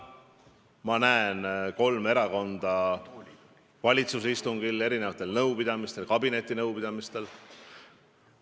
Ma näen kolme erakonda valitsuse istungitel, erinevatel nõupidamistel, ka kabinetinõupidamistel.